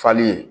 Fali